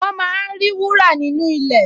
Wọ́n máa ń rí wúrà nínú ilẹ̀